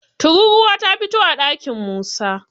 tururuwa ta fito a ɗakin Musa